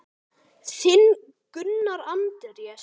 Þinn, Gunnar Andrés.